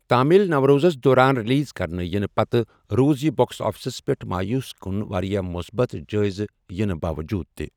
تامِل نٕو روزس دوران رِلیزکرنہٕ یِنہٕ پتہٕ روٗز یہِ بوکس آفِسس پیٹھ مایوس کُن وارِیاہ مُصبت جٲیزٕ یِنہٕ باوجُود تہِ ۔